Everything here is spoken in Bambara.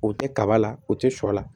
U tɛ kaba la u tɛ shɔ la